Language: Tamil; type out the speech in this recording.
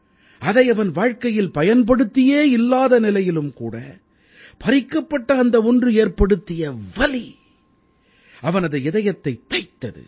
அதை அவன் வாழ்க்கையில் பயன்படுத்தியே இல்லாத நிலையிலும் பறிக்கப்பட்ட அந்த ஒன்று ஏற்படுத்திய வலி அவனது இதயத்தைத் தைத்தது